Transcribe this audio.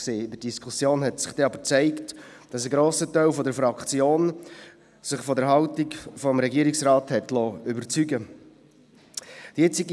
In der Diskussion zeigte sich aber, dass sich ein grosser Teil der Fraktion von der Haltung des Regierungsrates überzeugen liess.